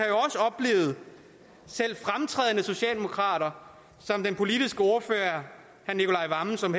selv fremtrædende socialdemokrater som den politiske ordfører herre nicolai wammen som